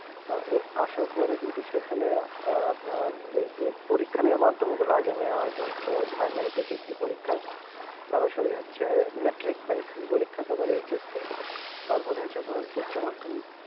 তো আসার পরে কিন্তু সেখানে নারে এই যে পরীক্ষা নেওয়ার মাধ্যমে গোলা আগে নেয়া হতো ফার্মেটিক বৃত্তি পরীক্ষা সরাসরি হচ্ছে মেট্রিক পরীক্ষা বা এইচএসসি তারপরে হচ্ছে আপনার উচ্চমাধ্যমিক